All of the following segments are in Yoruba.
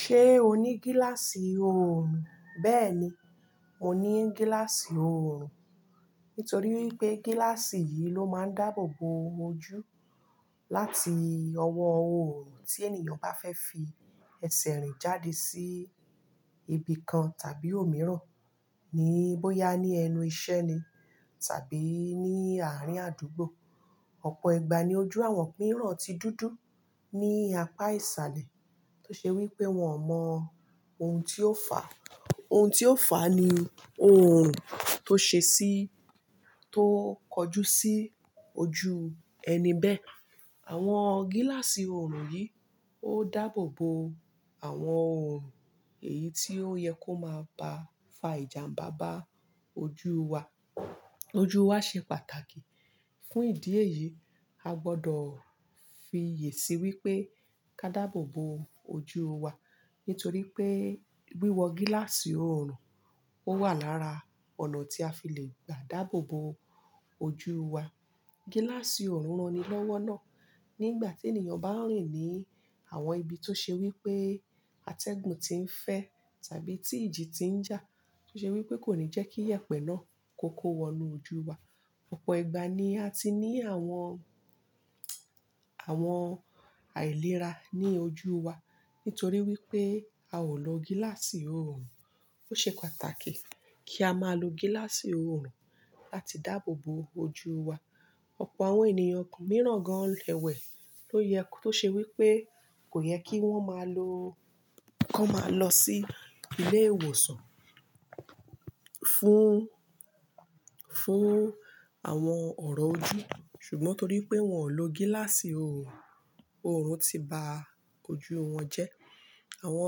Ṣé o ní gíláàsì oorun? Bẹ́ẹ̀ni, mo ní gíláàsì oorun. Nítorí wípé gíláàsì yìí ló máa ń dáàbò bo ojú láti ọwọ́ oorun tí ènìyàn bá fẹ́ fi ẹsẹ̀ rìn jáde sí ibi kan tàbí òmíràn, ní bóyá ní ẹnu ìṣẹ́ ni tàbí ní àárín àdúgbò. Ọ̀pọ̀ ìgbà ni ojú àwọn mìíràn ti dúdú ní apá ìsàlẹ̀ tó ṣe wípé wọ́n mọ ohun tí ó fà. Ohun tí ó fà ní oorun tó ṣe sí, tó kojú sí ojú ẹni bẹ́ẹ̀. Àwọn gíláàsì oorun yìí ó dáàbò bo àwọn oorun èyí tó yẹ kó máa ba fa ìjàmbá bá ojú wa. Ojú wa ṣe pàtàkì. Fún ìdí èyí, a gbọ́dọ̀ fi yèsí wípé ká dáàbò bo ojú wa, nítorí pé wíwọ gíláàsì oorun ó wà lára ọ̀nà tí a fi le dààbò bo ojú wa. Gíláàsì oorun ranilọ́wọ́ náà nígbà tí ènìyàn bá ń rìn ní àwọn ibi tó ṣe wípé atẹ́gùn ti ń fẹ́ tàbí tí ìjì ti ń jà, tó ṣe wípé kò ní jẹ́kí ìyẹ̀pẹ̀ náà kó kó wọnú ojú wa. Ọ̀pọ̀ ìgbà ni a ti ní àwọn, àwọn àìlera ní ojú wa nítorí wípé a ò lo gíláàsì oorun. Ó ṣe pàtàkì kí a máa lo gíláàsì oorun láti dáàbò bo ojú wa. Ọ̀pọ̀ àwọn ènìyàn mìíràn gan-an lẹ́wẹ̀ tó yẹ, tó ṣe wípé kò yẹ kí wọ́n máa lo, kó máa lọ sí ilé ìwòsàn fún, fún àwọn ọ̀rọ̀ ojú, ṣùgbọ́n torí pé wọ́n ò lo gíláàsì oorun, oorun ti ba ojú wọn jẹ́. Àwọn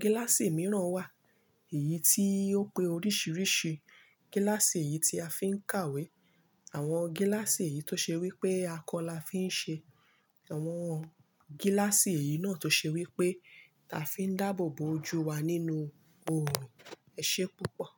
gíláàsì mìíràn wà, èyí tí ó pé oríṣìíríṣìí gíláàsì yìí tí a fi ń kàwé. Àwọn gíláàsì èyí tó ṣe wípé akọ la fi ń ṣe, àwọn gíláàsì èyí náà tó ṣe wípé a fi ń dáàbò bo ojú wa nínú oorun. Ẹ ṣé púpọ̀.